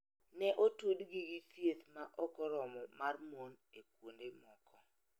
Ne otudgi gi thieth ma ok oromo mar mon e kuonde moko.